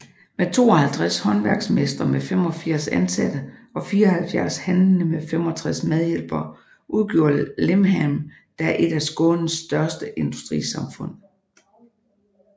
Med 52 håndværksmestre med 85 ansatte og 74 handlende med 65 medhjælpere udgjorde Limhamn da et af Skånes største industrisamhfund